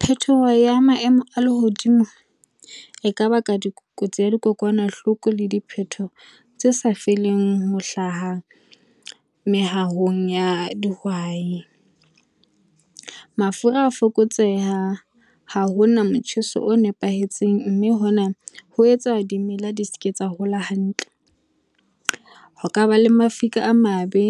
Phetoho ya maemo a lehodimo, e ka baka dikotsi tsa dikokwanahloko le diphetoho tse sa feleng ho hlaha mehahong ya dihwai. Mafura a fokotseha, ha ho na motjheso o nepahetseng, mme hona ho etsa dimela di seke tsa hola hantle. Ho kaba le mafika a mabe,